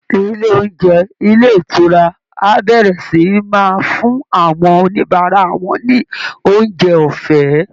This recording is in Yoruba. Ilé oúnjẹ ilé ìtura á bẹ̀rẹ̀ sì í máa fún àwọn oníbàárà wọn ní oúnjẹ ọ̀fẹ́